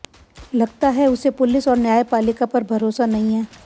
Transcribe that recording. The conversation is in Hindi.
लगता है उसे पुलिस और न्यायपालिका पर भरोसा नहीं है